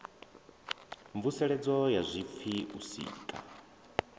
mvuseledzo ya zwipfi u sika